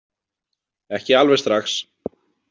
Ekki alveg strax.